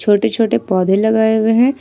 छोटे छोटे पौधे लगाए हुए हैं।